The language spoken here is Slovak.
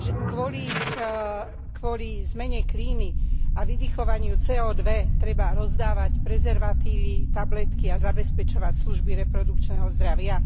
Kvôli zmene klímy a vydychovaniu CO 2 treba rozdávať prezervatívy, tabletky a zabezpečovať služby reprodukčného zdravia?